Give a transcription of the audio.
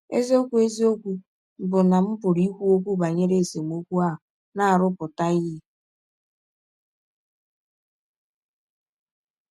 Eziọkwụ Eziọkwụ bụ́ na m pụrụ ikwu ọkwụ banyere esemọkwụ ahụ na - arụpụta ihe.